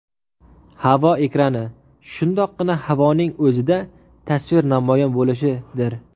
Havo ekrani – shundoqqina havoning o‘zida tasvir namoyon bo‘lishidir.